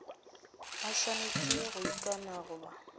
a swanetše go ikana goba